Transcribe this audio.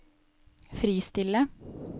fristille